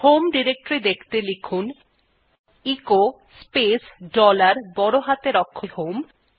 home directory দেখতে লিখুন echo space dollar বড় হাতের অক্ষরে h o m ই